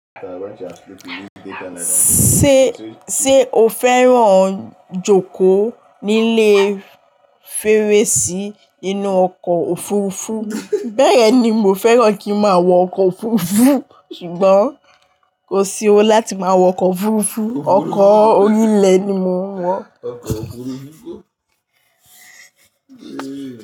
Ṣé, sé o fẹ́ràn jókòó nílé fèrèsí inú ọkọ̀ òfurufú? Bẹ́ẹ̀yen ni mo fẹ́ràn kí máa wọ ọkọ̀ òfurufú ṣùgbọ́n kò sí owó láti máa wọ ọkọ̀ òfurufú. Ọkọ̀ orí ilẹ̀ ni mo ń wọ.